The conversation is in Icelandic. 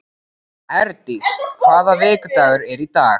Herdís, hvaða vikudagur er í dag?